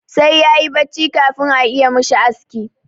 Sai ya yi bacci kafin a iya mishi aski.